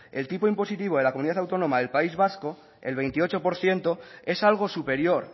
el tipo impositivo de la comunidad autónoma del país vasco el veintiocho por ciento es algo superior